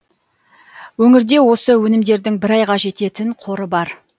өңірде осы өнімдердің бір айға жететін қоры бар